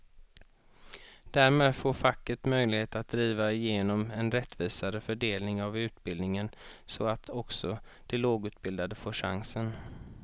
Därmed får facket möjlighet att driva igenom en rättvisare fördelning av utbildningen så att också de lågutbildade får chansen.